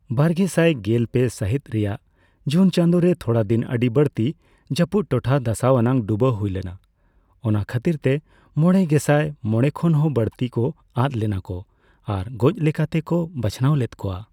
ᱵᱟᱨᱜᱮᱥᱟᱭ ᱜᱮᱞ ᱯᱮ ᱥᱟᱹᱦᱤᱛ ᱨᱮᱭᱟᱜ ᱡᱩᱱ ᱪᱟᱸᱫᱚ ᱨᱮ, ᱛᱷᱚᱲᱟ ᱫᱤᱱ ᱟᱹᱰᱤ ᱵᱟᱹᱲᱛᱤ ᱡᱟᱹᱯᱩᱫ ᱴᱚᱴᱷᱟ ᱫᱷᱟᱥᱟᱣ ᱟᱱᱟᱜ ᱰᱩᱵᱟᱹ ᱦᱩᱭ ᱞᱮᱱᱟ, ᱚᱱᱟ ᱠᱷᱟᱹᱛᱤᱨᱛᱮ ᱢᱚᱲᱮ ᱜᱮᱥᱟᱭ ᱦᱚᱲ ᱠᱷᱚᱱ ᱦᱚᱸ ᱵᱟᱹᱲᱛᱤ ᱠᱚ ᱟᱫ ᱞᱮᱱᱟᱠᱚ ᱟᱨ ᱜᱚᱡᱽ ᱞᱮᱠᱟᱛᱮᱠᱚ ᱵᱟᱪᱷᱟᱱᱟᱣ ᱞᱮᱫ ᱠᱚᱣᱟ ᱾